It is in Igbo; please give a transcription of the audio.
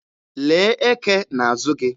Lee eke n'azụ gị!